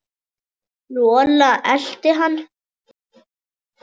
Rola elti hann.